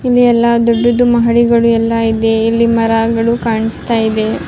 ಇಲ್ಲಿ ಎಲ್ಲ ದೊಡ್ಡುದು ಮಹಡಿಗಳು ಎಲ್ಲ ಇದೆ ಇಲ್ಲಿ ಮರಗಳು ಕಾಣಿಸ್ತಾ ಇದೆ.